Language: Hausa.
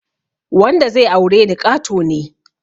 Wanda zai aure ni ƙato ne